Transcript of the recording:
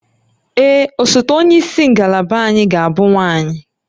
Ee, osote onye isi ngalaba anyị ga-abụ nwanyị